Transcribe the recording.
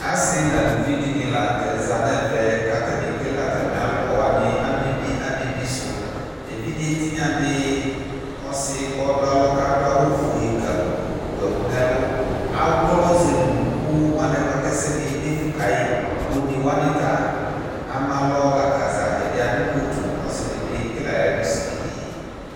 asi n'aluvi di ni lantɛ za n'ɛvɛ k'atani ekele atami alɔ wani amɛbi amɛbi sò evidze tinya di ɔsi k'ɔdu alɔ k'adu awu fue kapuu wu ɛkò n'ɛlu awlɔ zele unuku mo anɛ boa k'ɛsɛdi ye defu ka yi one wani ta ama alɔ la k'aza ɛdi adu kotu ɔsi di bi ekele ayi ɛlu sigidi